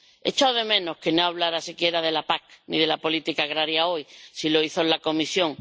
Echo de menos que no hablara siquiera de la PAC, ni de la política agraria hoy. Sí lo hizo en la Comisión.